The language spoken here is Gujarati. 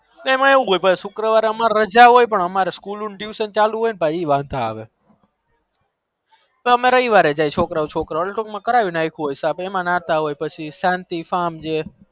તેમાં એવું હોય અમર સુક્ર વારે રાજા હોય પણ અમર school tuition ચાલુ હોય એ વધો આવે અમે રવિ વારે જાય છોકરા ઓ છોકરાઓ ટૂંક એમાં નાતા હોય